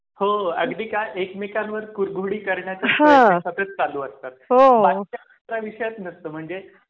हो अगदी का एकमेकांवर कुरघोडीकरण्याचा हा सतत चालू असतात हो आणि विषयात नसतं म्हणजे,